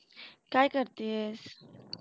काय करतेस?